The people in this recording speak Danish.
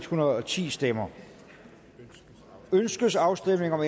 hundrede og ti stemmer ønskes afstemning om